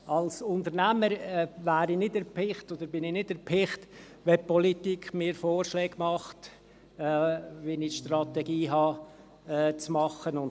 Als Unternehmer bin ich nicht erpicht, dass mir die Politik Vorschläge macht, wie ich die Strategie zu machen habe.